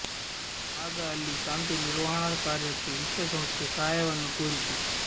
ಆಗ ಅಲ್ಲಿ ಶಾಂತಿ ನಿರ್ವಹಣಾ ಕಾರ್ಯಕ್ಕೆ ವಿಶ್ವಸಂಸ್ಥೆ ಸಹಾಯವನ್ನು ಕೋರಿತು